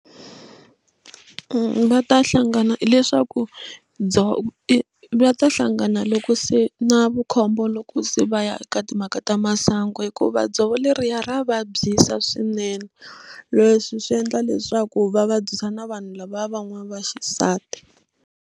Va ta hlangana hileswaku ndzo i va ta hlangana loko se na vukhombo loko se va ya eka timhaka ta masangu hikuva dzovo leriya ra vabyisa swinene leswi swi endla leswaku va vabyisa na vanhu lava van'wana va xisati.